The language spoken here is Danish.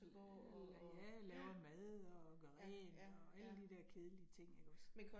Øh ja, laver mad og gør rent og alle de der kedelige ting ikke også